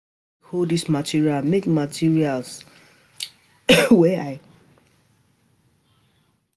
Abeg hold dis material make material make I dye am well and no dey talk for my ear